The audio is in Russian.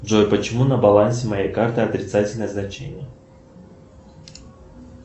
джой почему на балансе моей карты отрицательное значение